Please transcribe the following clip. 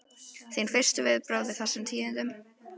Þín fyrstu viðbrögð við þessum tíðindum?